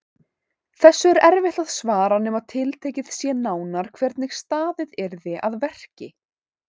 Þessu er erfitt að svara nema tiltekið sé nánar hvernig staðið yrði að verki.